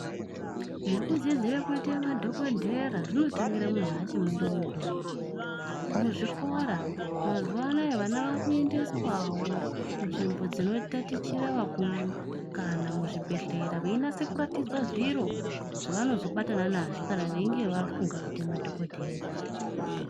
Zvekudzidzire kuitemadhokodheya zvinotangira munhu achiri mudodori muzvikora mazuwa anaya vana vakuendeswawo kunzvimbo dzinotatichira vakuru kana muzvibhehleya veinase kuratidzwe zviro zvavanozobatane nazvo kana veinge vafunge kuite madhokodheya.